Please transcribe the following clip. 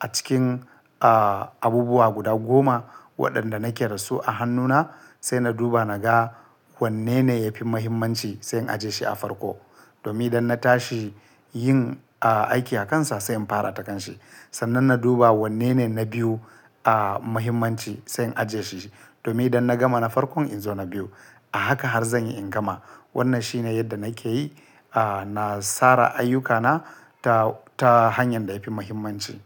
a cikin, ah, abubuwa guda goma waɗanda nake da su a hannuna sai na duba na ga wanne ne yafi muhimmanci sai in ajiye shi a farko domin da na tashi yin, ah, aiki a kansa sai in fara da kanshi. Sannan na duba wanne ne na biyu, ah, muhimmanci sai in ajiye shi domin da na gama na farkon in zo na biyu. A haka har zan yi in gama. Wannan shine yadda nake yi, ah, na tsara ayyukana ta, ta hanyar da yafi muhimmanci.